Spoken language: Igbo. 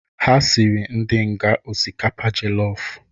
Ha sịrị ndi nga ọsikapa jọllọf